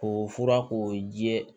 K'o fura k'o ji ye